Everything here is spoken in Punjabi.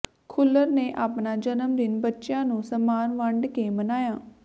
ਖੁੱਲਰ ਨੇ ਆਪਣਾ ਜਨਮ ਦਿਨ ਬੱਚਿਆਂ ਨੂੰ ਸਾਮਾਨ ਵੰਡ ਕੇ ਮਨਾਇਆ